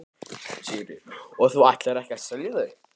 Sigríður: Og þú ætlar ekki að selja þau?